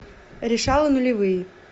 решала нулевые